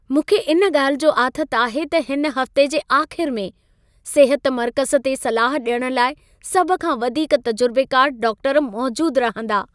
मूंखे इन ॻाल्हि जो आथत आहे त हिन हफ़्ते जे आख़िर में सिहत मर्कज़ु ते सलाह ॾियण लाइ सभ खां वधीक तजुर्बेकार डाक्टरु मौजूदु रहंदा।